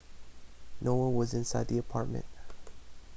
no one was inside the apartment